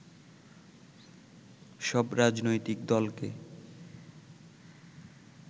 সব রাজনৈতিক দলকে